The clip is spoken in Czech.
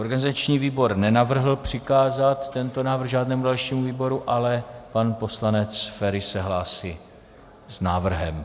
Organizační výbor nenavrhl přikázat tento návrh žádnému dalšímu výboru, ale pan poslanec Feri se hlásí s návrhem.